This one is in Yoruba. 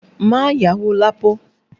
Má yáwó Lapo!